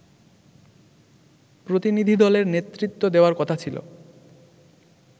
প্রতিনিধিদলের নেতৃত্ব দেওয়ার কথা ছিল